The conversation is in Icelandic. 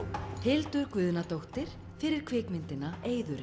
Hildur Guðnadóttir fyrir kvikmyndina